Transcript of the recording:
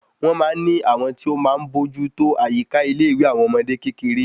Wọn máa ní àwọn tí o máa bójú tó àyíká ilé ìwé àwọn ọmọdé kékeré